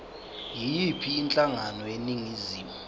yiyiphi inhlangano eningizimu